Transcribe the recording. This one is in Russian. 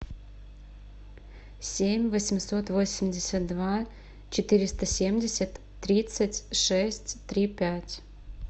семь восемьсот восемьдесят два четыреста семьдесят тридцать шесть три пять